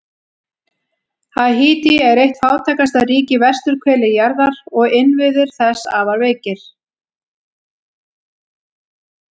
Haítí er eitt fátækasta ríki á vesturhveli jarðar og innviðir þess afar veikir.